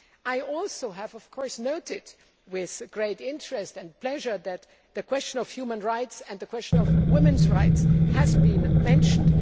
I have also noted with great interest and pleasure that the question of human rights and the question of women's rights have been mentioned.